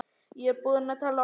Ég er búin að tala oft um ömmu.